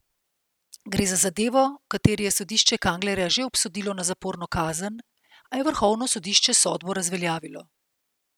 Gre za zadevo, v kateri je sodišče Kanglerja že obsodilo na zaporno kazen, a je vrhovno sodišče sodbo razveljavilo.